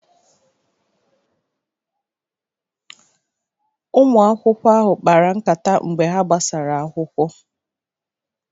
Ụmụ akwụkwọ ahụ kpara nkata mgbe ha gbasara akwụkwọ.